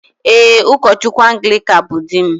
Ee, ụkọchukwu Anglikan bụ di m